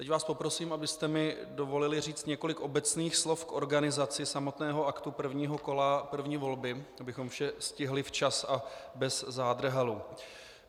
Teď vás poprosím, abyste mi dovolili říct několik obecných slov k organizaci samotného aktu prvního kola první volby, abychom vše stihli včas a bez zádrhelů.